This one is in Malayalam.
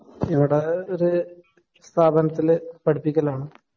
ഇവിടെ ഒരു സ്ഥാപനത്തില് പടിപ്പിക്കലാണ്.